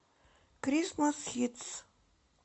крисмас хитс